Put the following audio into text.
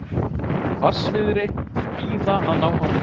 Hvassviðrið víða að ná hámarki